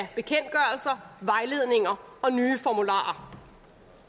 sig vejledninger og nye formularer